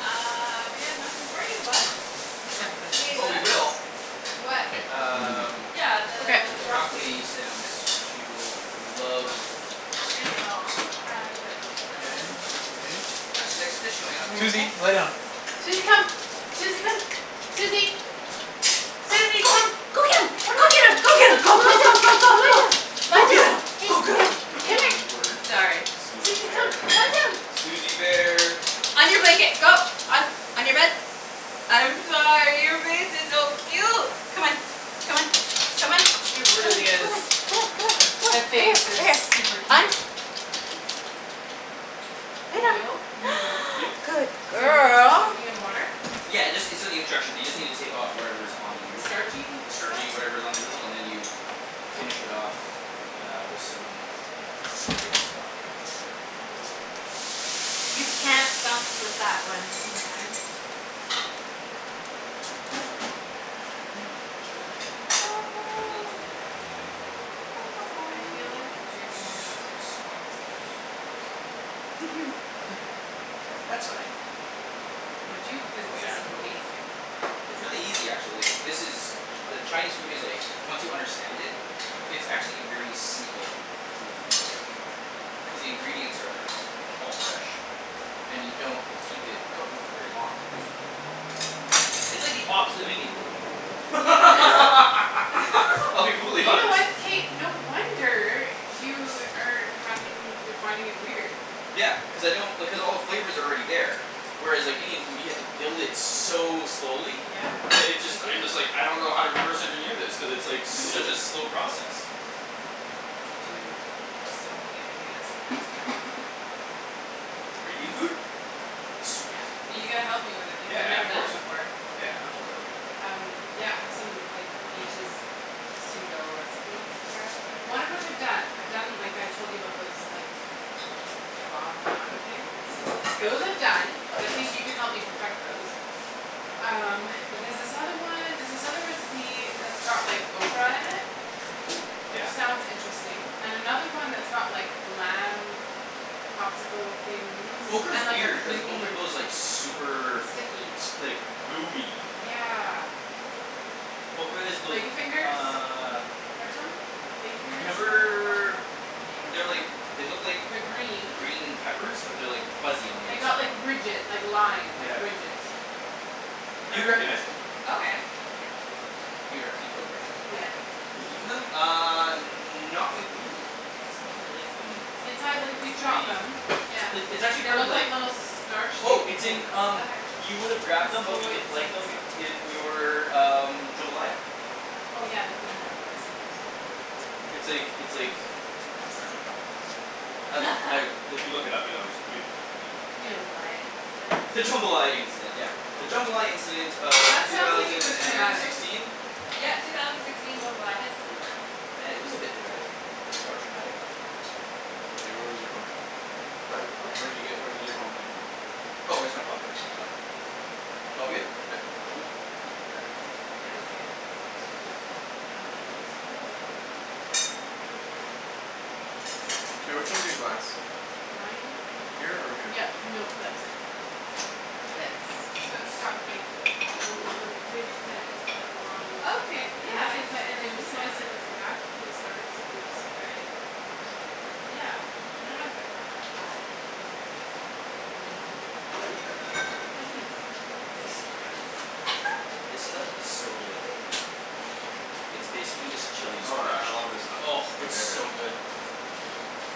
Uh, we have nothing for you, bud. Accept You this wanna eat a just Oh in we bug? case will. What? Can't, I'm busy. Um Yeah, Okay. the The broccoli broccoli stems, she will love I know. Um, but till Okay, then that looks okay? That's the next dish going up. Everything okay? Suzy lay down. Suzy come. Suzy come. Suzy! Suzy Go! come. Go get 'em! Come on. Go get 'em! Go get 'em, Come, go come go lie go down. go go Come lie go! down. Go Lie get down. 'em, Hey, go get here. 'em! Oh Come here. my word. Sorry. Suzy Suzy come. bear. Lie down. Suzy bear! On your blanket, go. On, on your bed. I'm sorry, your face is so cute! Come on, come on, come on. It Come on, come on, really come is. on, come on, come on, come on. Right That here, face is right here. super I'm cute. Lay Oil, down. noodles. Yep. Good So noodles were girl! soaking in water? Yeah, it just, it's in the instruction. You just need to take of whatever is on the The noodle. starchy The stuff? starchy whatever is on the noodle, and then you finish it off uh, with some chicken stock. Ooh. You can't bounce with that one. Oh man. All right, ta ta ta ta, and then I'll put the green onions in there right now. I feel like you're Some gonna need to soy explain this to me sauce. another time. That's fine. Would you? Cuz Oh this is yeah, totally. amazing. It's really easy actually. This is, ch- the Chinese food is like, once you understand it, it's actually a very simple food to make. Cuz the ingredients are all fresh and you don't keep it cooking for very long for the most part. It's like the opposite of Indian food. I'll be You brutally know honest. what? K no wonder you are having, you're finding it weird. Yeah. Cuz I don't, because all the flavor's already there. Whereas like Indian food, you have to build it so slowly Yeah, that it you just, I do. just like, I don't know how to reverse engineer this cuz it's such a slow process. Dude, I've so many ideas for next time. For Indian Mhm, food? mhm. Sweet. Yes. But you gotta help me with it because I've Yeah, never of done it course. before. Yeah I'll totally help you. Um yeah, I have some like, the just pseudo recipes to try out. One of which I've done. I've done like I told you about those, like, kebab naan things. Those are Yeah. done. I think you can help me perfect those. Um, but there's this other one, there's this other recipe that's got like ocra in it Oh! Which Yeah. sounds interesting. And another one that's got like lamb popsicle things Ocra is and like a weird, cuz creamy ocra goes like super Sticky S- like gooey. Yeah. What's ocra? Ocra is those, Lady fingers? uh Heard of them? Lady fingers Remember they're like, they like look like They're green. green peppers but they're like fuzzy on the They got outside. like ridge- like line, Yeah. ridges. You'd recognize them. Okay. You'd rec- you'd totally recognize them. Have Yeah. I eaten Eaten them? them? Uh, not with me cuz I don't really like them. Inside, like if you chop them Yeah. It's, it's actually They look like little star Oh, shaped it's things in um Okay. You With would've grabbed them but little you white didn't like seed sort them of i- in your um, jambalaya. Oh yeah, they put 'em in jambalaya sometimes. It's like, it's like, where's my phone? Um like, if you look it up you'll unders- you, yeah The Hmm. jambalaya incident. The jambalaya incident, yeah. The jambalaya incident of That two sounds like it was thousand and traumatic. sixteen? Yeah, two thousand sixteen jambalaya incident. Yeah it was a bit dramatic. Or traumatic. Ocra. Hey where was your phone? What? What? Where did you get, where did your phone come from? Oh, just my pocket. Oh. It's all good? Yeah. Cool. Apparently. Yeah. Okay, here you go Ped. Um, it's loading. K, which one's your glass? Mine? Here or here? Yeah, no that's it. Now This. I So need it's got some like the l- the ridge kinda, it's got like lines sort of. Okay, And yeah that's the I've seen inside, and when you slice it it it. looks like that. Little stars. Oops. All right. You, you get it. Yeah. I dunno if I've ever had it though. Mmm, that looks good. and this stuff. Ooh, This stuff is so good. excuse me. It's basically just chili Oh, I scratch. love this stuff. Oh, It's my it's favorite. so good.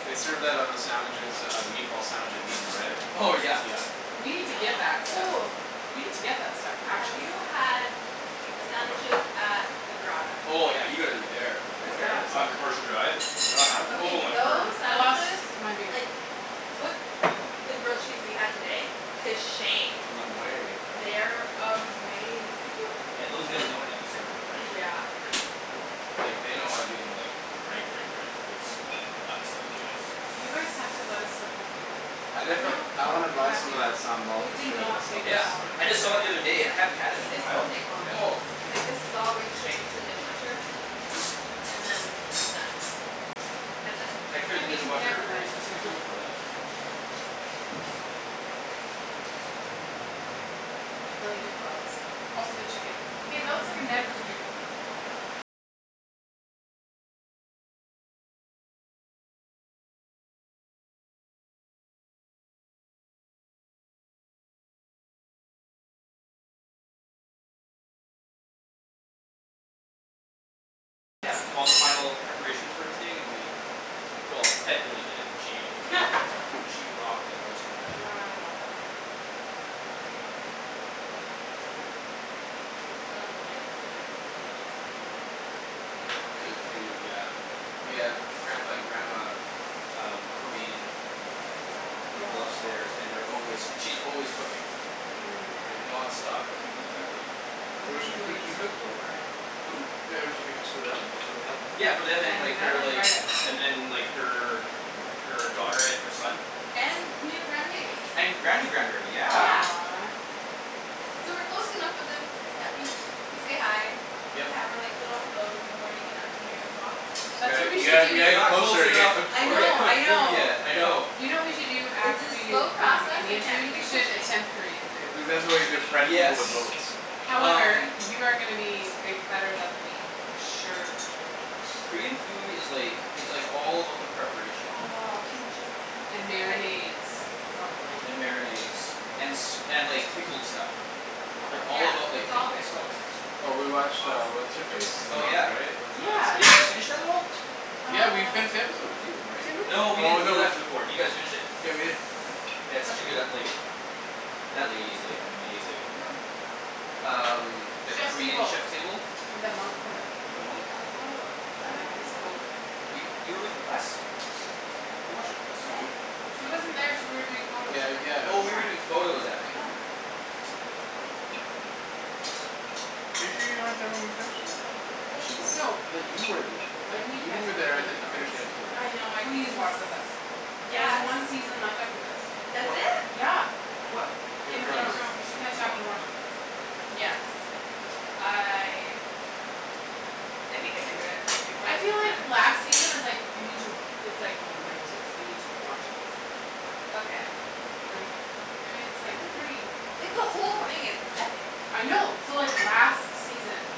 They served that on the sandwiches uh, the meatball sandwich at Meat and Bread. Oh yeah. Yeah. We need to get that stuff. Ooh. We need to get that stuff. Have Actually. you had the sandwiches at the Grotta? Oh yeah, you gotta go there. Where's Where that? is on that? Commercial Drive. Oh Okay my word. those I lost sandwiches my beer. like, put the grill cheese we had today to shame. No way. They're amazing. Yeah those guys know how to do sandwiches right. Yeah. Like, they know how to do them like, right right right. It's nuts. Those guys You guys have to go let us help you clean up. I definitely, No. I wanna You buy have some of to. that sambal We for did sure. That not stuff take is this my Yeah. long I the just saw it the favorite. other day. I hadn't had it in a sandwiches. This while. won't take long. Oh. Yeah. Like this is all going straight into the dishwasher, and then it's done. That's it. I clear Yeah the but you dishwasher never let very us clean up. specifically for that. Wow. Yeah. I left the knife upstairs. I mean she's cooking gr- good, good Good food. food, yeah. We have Grampa and Grandma um, Korean Yes. people Oh upstairs and they're s- always, and she's always cooking. oh Like man. nonstop cooking, Mhm. that lady. Those Who are does she, people who you does she need to cook for? befriend. Who? Yeah does she cook just for them, Yeah. just for the couple? Yeah for them and And like, then her like, invite us. and then like her, her daughter and her son. And new grandbaby. And Granny grand berry, yeah. Yeah. Aw. So we're close enough with them that we, we say hi. We Yep. have our like, little hellos in the morning and afternoon walks. You That's what got- we you should gotta, you gotta do. We're get not close closer to get enough to cooked I for get know, you. I cooked food know. yet, I know. Do you know what we should do It's after a we do slow um, process. I Indian can't food? be We too should pushy. attempt Korean food. That's exactly why you befriend people with Yes. boats. However, Um. you are gonna be bi- better than th- me. For sure for sure for sure. Korean food is like, it's like all about the preparation. Oh, kimchi And pancakes. marinades, probably. And marinades. And s- and like pickled stuff. They Yeah, all about Oh. like it's all pickled pickles. stuff. Well It's we watched uh, awesome. what's her face? Oh yeah. Yeah. Did you guys finish that at all? Yeah we Uh finished the episode with you, right? Didn't No we? we Oh didn't, we no. left before. Did you guys finish it? Yeah we did. Yeah it's such a good ep- like that lady is like, amazing. Who? Um, that Chef's Korean Table. Chef Table. And the monk woman. With the monk. Oh. I Yeah, dunno that if I was watched cool. that one. You, you were with us. You watched it with us. When? She wasn't there. She wa- you were doing photos. Yeah, Yeah. yeah. Oh you were doing photos that night. No. Right right right right right. I forgot about that. Are you sure you weren't there when we finished that? I thought I thought she you were. was. So. I thought you were th- I thought When you you catch were up there. with I Game of thought you finished Thrones the episode with us. I know. Please watch with us. I There's Yes! one season left after this. Of That's what? it? Yeah! Of what? Game Game of Game of of Thrones. Thrones. Thrones. You should catch up and Oh. watch with us. Yes. I I think I can do it before I the feel season like ends. last season is like, you need to w- it's like momentous. You need to watch it with some people. Okay. Don't you think? I mean it's I like, don't know. pretty Like the whole thing is epic. I know. So like last season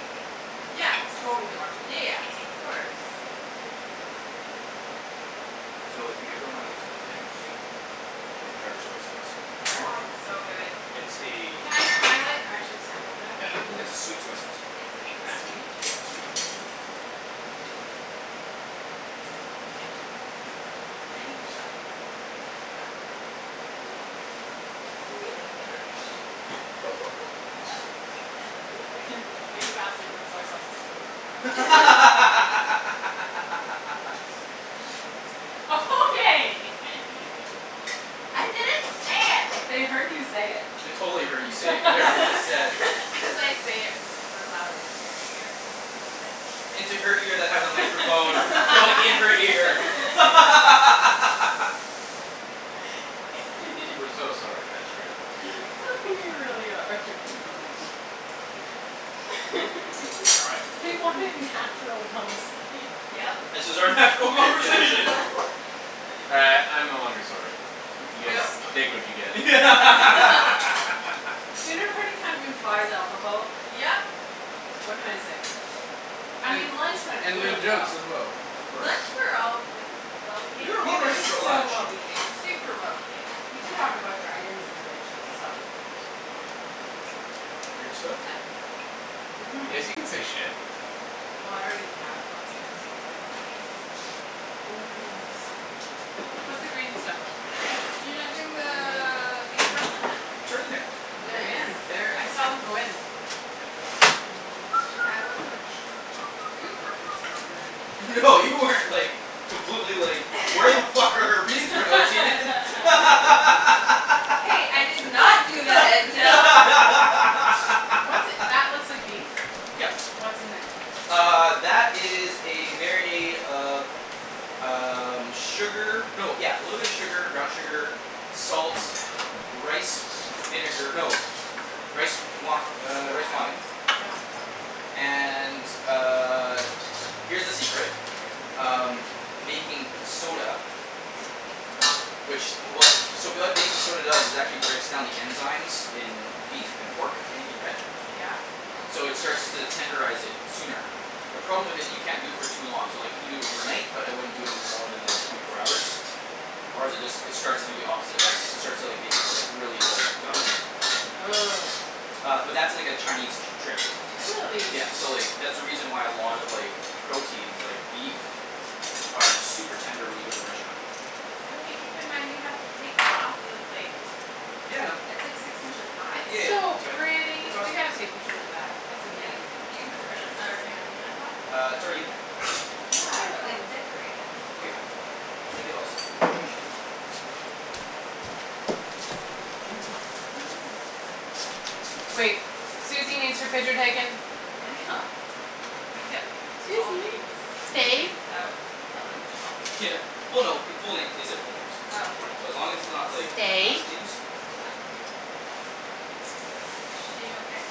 Yes. Totally watch it with Yeah us. yes, of course. So if you ever wanna get something very interesting Get Yeah? dark soy sauce. Oh Dark? it's so good. It's a Can I, can I like actually sample that? Yeah. Can you It's a sweet soy sauce. It's like It's crack. sweet? Yeah, it's sweet. It's addicting. Oh my goodness. I need to stop using the term "It's like crack". Oh, no. I'm very Shh excited. That came way faster than soy sauce is supposed to come out. Okay! I didn't say it! They heard you say it. They totally heard you say it, whatever you just said. As I say it super loud into your ear. I like it. Into her ear that has a microphone going in her ear. We're so sorry, transcribers. We really are. All right. We want natural conversation. Yep. This is our natural Yeah. conversation. Uh I'm no longer sorry. You guys No. take what you get. Dinner party kind of implies alcohol. Yep! What can I say? I mean lunch went And loo really well. as well, of course. Lunch we were all really well We behaved. were We well were behaved for so lunch. well behaved. Super well behaved. We did talk about dragons and weird shi- stuff. Wait, can you say Weird stuff? Mhm. Yes you can say "shit". Well I already have lots of times, so good. I mean Oh my goodness. What's the green stuff? You're not doing the Mmm. beef? It's right in there. It They're is? in there. I saw them go in. Oh my I wasn't gosh. super concerned or anything. No you weren't like, completely like, "Where the fuck are our bean sprouts, Ian?" Hey, I did not do What's that looks like beef. Yep. Yeah. What's in there? Uh, that is a marinade of um, sugar. No yeah, little bit of sugar, brown sugar, salts, rice with s- vinegar. No. Rice wi- er, rice wine Yep. And uh, here's the secret. Yep. Um, baking soda. Which w- so Ooh. what baking soda does is actually breaks down the enzymes in beef and pork, anything red. Yeah. So it starts to tenderize it sooner. The problem with it, you can't do it for too long. So like you can do it overnight but I wouldn't it more than like twenty four hours, or is it d- it starts to do the opposite effect. It starts to like, make it like, really like, gummy. Ugh. Uh but that's like a Chinese t- trick. Really? Yeah. So like, that's the reason why a lot of like proteins, like beef, are super tender when you go to the restaurant. Okay keep in mind we have to take that off of the plate. Yeah I know. It's like six inches high. It's Yeah, so that's right. pretty! It's We awesome. gotta take pictures of that. That's Yeah. amazing. Are you gonna put the red, uh green onion on top? Uh, it's already in there. Where's Yeah, my but like phone? decorate it. Okay fine, I'll make it all spoof and chichi. I know. Wait, Suzy needs her picture taken. we kept all Suzy, names and stay. things out at lunch? Yeah. Well no, it- full names. They said full names. Oh okay. So as long as it's not like, Stay. last names. She okay?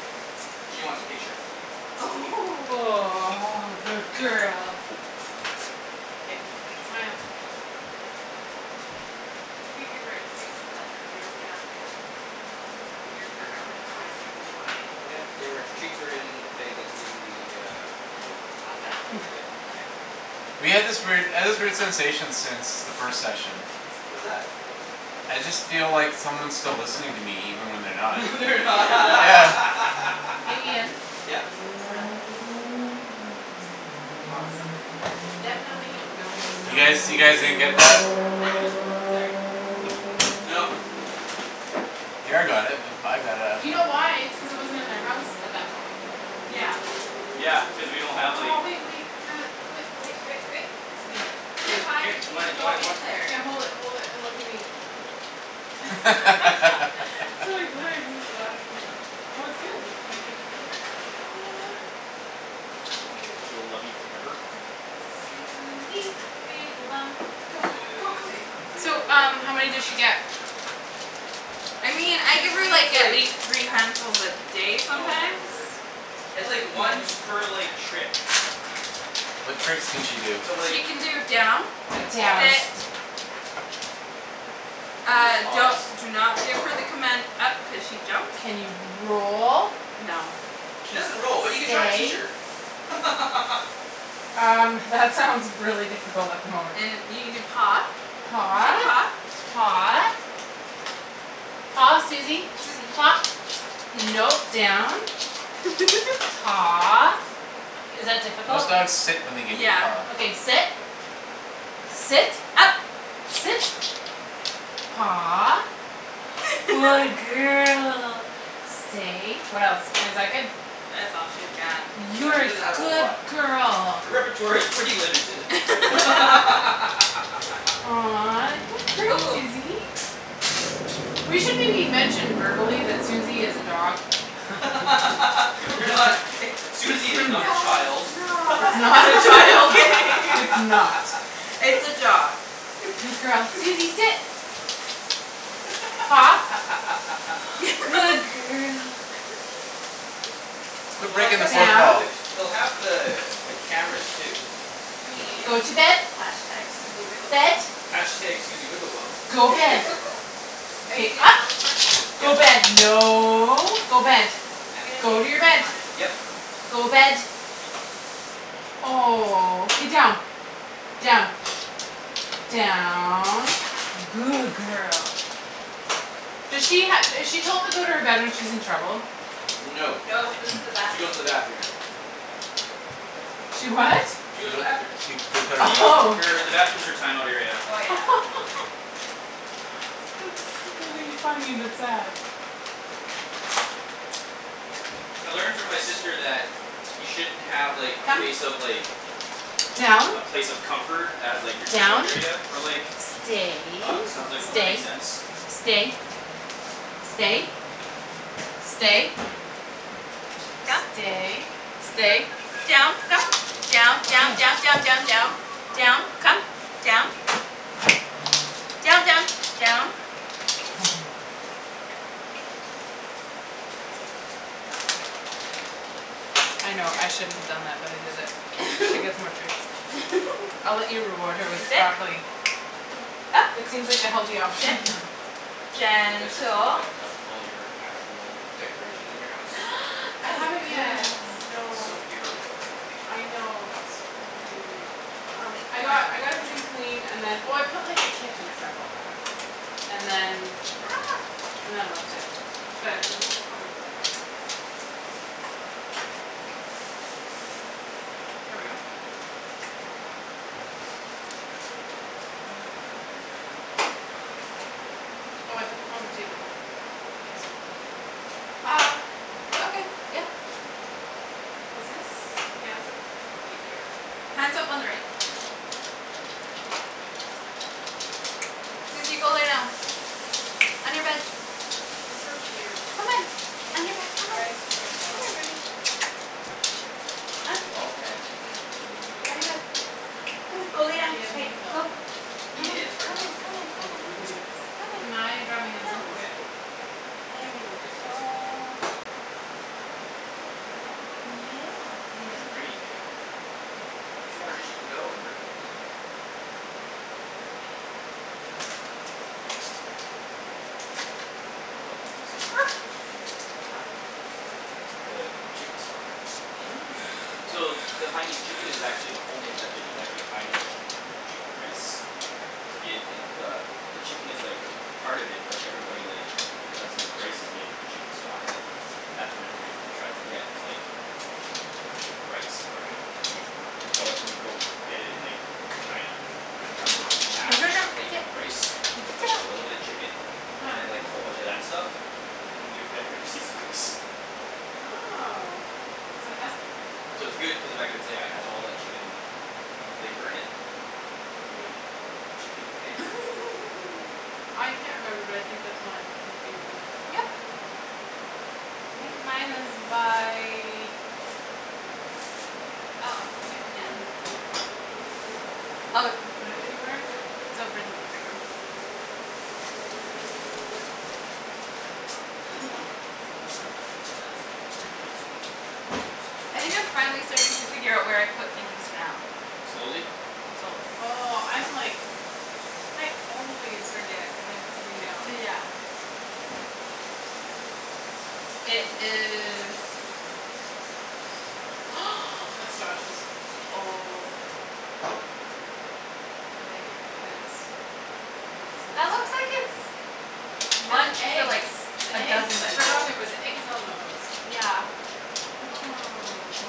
She wants a picture. Aw, good girl. K, smile. You could give her a treat so that her ears get up and, her ears perk up and her eyes get really wide. Oh yeah. They're, treats are in the bag that's in the, uh In the In the closet? closet, yep. Okay. We had this weird, I had this weird sensation since the first session. What's that? I just feel like someone's still listening to me even when they're not. They're Yeah. Hey Ian? n- Yep? Smile. Awesome. Definitely don't look. You guys, you guys didn't get that? Ah! Sorry. No. Kara got it. With, I got it, I You don't know. know why? It's cuz it wasn't in their house at that point. Yeah. Yeah, cuz we don't have Oh, like- wait wait, I got it. Wai- oh. Yep, Here, Too here, good. high to here. g- Do g- I, do go I in there. Yeah. Hold it hold it, and look at me. laughing. Well it's good. Do you wanna give them to her? Yes, I do. She will love you forever. Yes. Suzy, wiggle bum. Go, go go Suzy, go. So wiggle um, bum. how many Go does get she 'em. get? I mean, I give her, Usually it's like, at like least three handfuls a day Oh, my sometimes. word. It's, like, once per, like, trick. What tricks can she do? So like, She can do down, and Down. sit. pause. She can do a Ah, don't, pause. do not give her the command "up" cuz she jumps. Can you roll? No. She K. doesn't roll, but you can try and teach Stay? her. Um, that sounds really difficult at the moment. And you can do paw, Paw. shake paw. Paw. Paw, Susie. Susie. Paw, no, down. Paw. Is that Most difficult? dogs sit when they give you a Yeah. paw. Okay, sit. Sit. Up. Sit. Paw. Good girl. Stay. What else? And is that good? That's all she's got. Yeah, You're she a doesn't have a whole good lot. girl. Her repertoire is pretty limited. Aw, good girl, Ooh. Susie. We should maybe mention verbally that Susie is a dog. We're not i- Susie is not a Yeah, child. it's It's not. not a Just child; kidding. it's not. It's a dog. Good girl. Susie, sit. Paw, good girl. Quit Well, I breaking the guess they'll fourth Down. have wall. the, they'll have the, the cameras too. I Go mean to bed. Bed. #Susiewigglebomb. #Susiewigglebum. Go bed. Are you K, doing up. all the Go Yep. bed, no, go Mkay, bed. I'm gonna Go take to your bed. one. Yep. Go bed. Oh. K, Down. Down. Down. Good girl. do she ha- is she told to go to her bed when she's in trouble? No, No, she she goes goes to to the bathroom. the bathroom. She what? She She goes to the goe- bathroom. she, they put her in the bathroom. Oh. Her, the bathroom's her timeout area. Oh, yeah. That's really funny but sad. I learned from my sister that you shouldn't have, like, a Come. place of, like Down. a place of comfort as, like, your timeout Down. area for, like Stay. dogs and I was like, "Oh that makes Stay, sense." stay. Stay. Stay. Come. Stay, stay. Down, come. Down. Down, Okay. down, down, down, down. Down. Come. Down. Down, down. Down. I know. I shouldn't have done that, but I did it. She gets more treats. I'll let you reward her with Susie, . sit. Up, It seems like the healthy sit, option. You guys are putting gentle. back up all your actual decorations in your house? I Some Good haven't yet, girl. It's so no. bare without everything. I know. It's really weird. Um, I got, I got everything cleaned and then, oh, I put, like, the kitchen stuff all back. And then And then I left it. But we'll probably do that. Oh, I put them on the table, in case you wanted to know. Ah, I think. okay, yeah. Yeah, I did. Is this hand soap or do you care? Hand soap on the right. Cool. Susie, go lay down. On your bed. She's so cute. Come on, on your bed, You come on, guys chose well. come here, baby. On. It was all Ped. Wasn't me at On your all. bed. Come on, go lay down, Yeah, but hey, you fell in go. love with her. Come on, Yeah, it's hard come on, not to. come on, It come on. really is. Come on. Can I dry my hands go. on this? Oh Okay yeah, totally. There you Yes, yes, please do. go. Good girl. Ooh. Yeah, you're such a Alrighty. good girl. Two more dishes to go, and we're gonna eat. Ooh, I can do some of that in there too. Huh? The chicken stock. Oh, yeah. So the Haianese chicken is actually the whole name of that dish is actually a Haianese chicken and, chicken rice. So the id- id- the, the chicken is like part of it but everybody, like because the rice is made with the chicken stock that's what everybody tries to get is like the, the rice part. Sit. So, Sit. like, when you go get it in, like China it comes with this No, massive no, no, plate sit. of rice with like a little bit of chicken Huh. and then, like, a whole bunch of that stuff Yeah. and give, everybody just eats the rice. Oh, so it has to be good. So it's good cuz of the fact it's, yeah, it has all that chicken flavor in it. Yeah, oh, Chickeny flavor. I can't remember but I think that's mine if it has beer in it Yep. I think mine is by Oh, I might be done. Oh, it's Did you put it anywhere? over in the living room. All right, so that's there; that's almost done. And this is all I think I'm finally starting to figure out where I put things down. Slowly? Slowly. Oh, I'm like I always forget when I put something down. Yeah. It is That's Josh's. Oh. I like it because you can see That the looks out. like it's And the one for, eggs. like, The a dozen eggs, I forgot people. there was eggs on those. Yeah. Oh.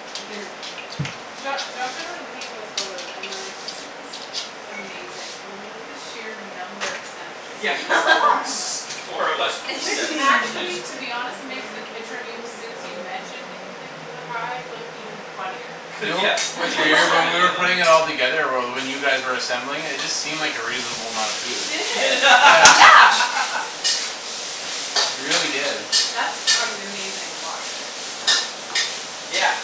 Jo- Josh, I remember looking at those photos and we're like, "This is amazing." I mean look at the sheer number of sandwiches, Yeah. and there's four of us. S- four of us with Which seven actually sandwiches. to be honest makes the picture of you since you mentioned that you think you look high look even funnier. Do you Cuz know yeah, what's cuz you have weird, so when we many were of them. putting it all together or well, when you guys were assembling it, it just seemed like a reasonable amount of It food. did. Yeah. Yeah. It really did. That's an amazing wok there. Yeah.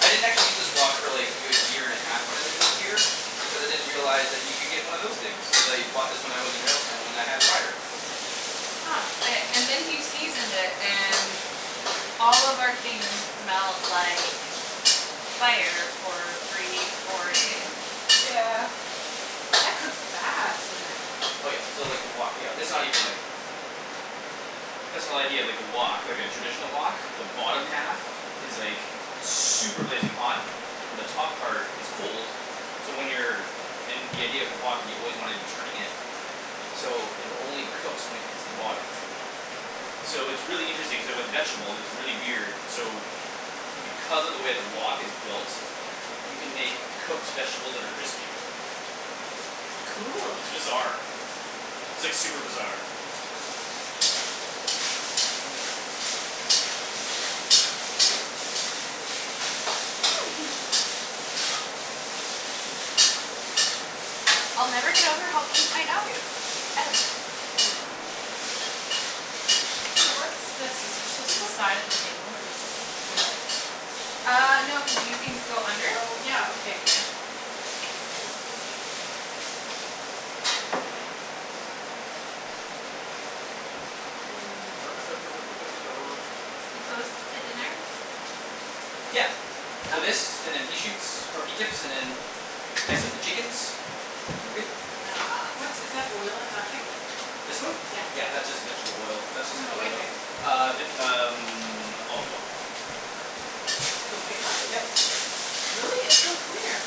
I didn't actually use this wok, really, a good year and half when I lived here because I didn't realize that you could get one of those things. Cuz I bought this when I was in Railtown when I had fire. Huh. Okay, and then he seasoned it and all of our things smelled like fire for three, four days. That cooks fast in there. Oh, yeah, so, like, the wok, yeah, this is not even like That's the whole idea of, like, a wok, like, a traditional wok. The bottom half is like super blazing hot Yeah. and the top part is cold so when you're and the idea of the wok is you always wanna be turning it Yep. so it only cooks when it hits the bottom. So it's really interesting, k, with vegetables it's really weird, so because of the way the wok is built you can make cooked vegetables that are crispy. Cool. It's bizarre. It's, like, super bizarre. I'll never get over how cute my dog is, ever. Aw. Hey, what's this? Is this just the side of the table or does it come out? Ah, no, cuz these things go under. Oh, yeah, okay. Yeah. Hmm. We close to dinner? Yeah. So Okay. this, and then pea shoots, or pea tips, and then then I set the chickens and we're good. Ah. What's, is that oil in that thing? This one? Yeah, that's just vegetable oil. That's What's just in the canola white oil. thing? Ah vit- um olive oil. In the white one? Yep. Really? It's so clear.